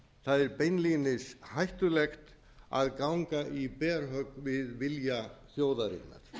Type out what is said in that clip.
það er beinlínis hættulegt að ganga í berhögg við vilja þjóðarinnar